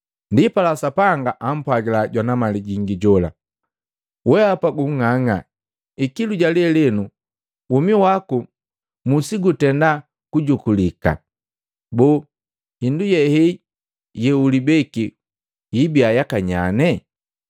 Ndipala Sapanga ampwagila jwana mali gingi jola, ‘Weapa gung'ang'a! Ikilu ja lelenu womi waku musigutenda kujukulika. Boo hindu yehei yeulibeki hibiya yakanyanye?’ ”